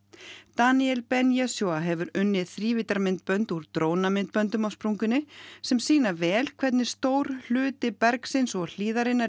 Daniel Ben hefur unnið þrívíddarmyndbönd úr drónamyndböndum af sprungunni sem sýna vel hvernig stór hluti bergsins og hlíðarinnar